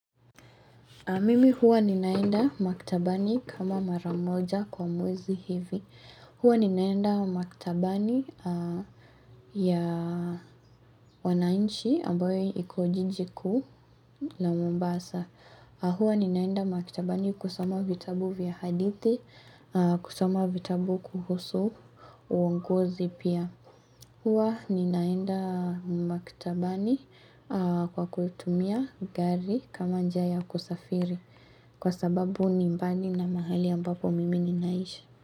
Mimi huwa ninaenda maktabani kama mara moja kwa mwezi hivi. Huwa ninaenda maktabani ya wananchi ambayo iko jiji kuu la Mombasa. Huwa ninaenda maktabani kusoma vitabu vya hadithi, kusoma vitabu kuhusu uongozi pia. Huwa ninaenda maktabani kwa kutumia gari kama njia ya kusafiri. Kwa sababu ni mbali na mahali ambapo mimi ninaishi.